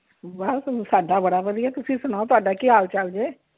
ਬਸ ਸਾਡਾ ਬੜਾ ਵਧੀਆ, ਤੁਸੀਂ ਸੁਣਾਓ ਤੁਹਾਡਾ ਕੀ ਹਾਲ ਚਾਲ ਜੇ?